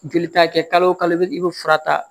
Joli ta kɛ kalo o kalo i be fura ta